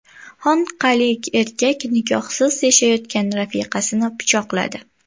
Xonqalik erkak nikohsiz yashayotgan rafiqasini pichoqladi.